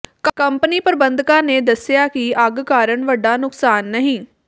company ਪ੍ਰਬੰਧਕਾਂ ਨੇ ਦੱਸਿਆ ਕਿ ਅੱਗ ਕਾਰਨ ਵੱਡਾ ਨੁਕਸਾਨ ਨਹੀ